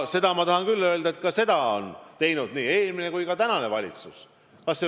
Seda ma tahan küll öelda ja seda on teinud nii eelmine kui ka praegune valitsus.